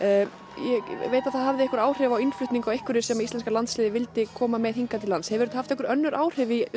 ég veit að það hafði áhrif á innflutning á einhverju sem íslenska landsliðið vildi koma með hingað hefur þetta haft einhver önnur áhrif í